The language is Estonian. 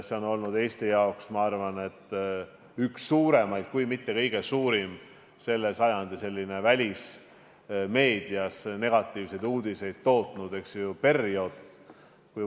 See on olnud Eesti jaoks, ma arvan, sellel sajandil üks pikimaid, kui mitte kõige pikem välismeedias negatiivseid uudiseid tootnud periood.